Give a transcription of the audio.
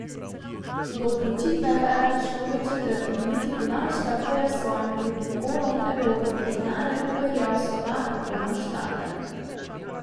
Do odločitve pa je prišlo v četrti minuti podaljška, ko je s svojim drugim golom Evropo v finale popeljal Slovak Tomaš Tatar.